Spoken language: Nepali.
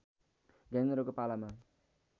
ज्ञानेन्द्रको पालामा